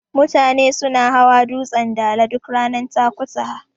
Mutane suna hawa dutsen Dala duk ranar Takutaha.